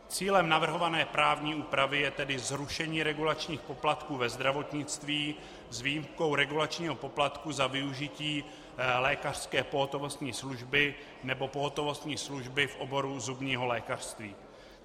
Cílem navrhované právní úpravy je tedy zrušení regulačních poplatků ve zdravotnictví s výjimkou regulačního poplatku za využití lékařské pohotovostní služby nebo pohotovostní služby v oboru zubního lékařství.